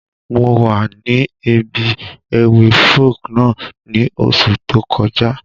Mo wa ni ibi ewi Folk náà ni oṣú tó kọja.